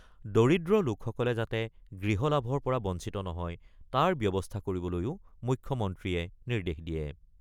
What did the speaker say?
দৰিদ্ৰ লোকসকল যাতে গৃহ লাভৰ পৰা বঞ্চিত নহয় তাৰ ব্যৱস্থা কৰিবলৈও মুখ্যমন্ত্ৰীয়ে নিৰ্দেশ দিয়ে।